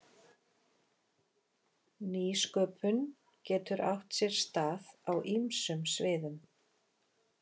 Nýsköpun getur átt sér stað á ýmsum sviðum.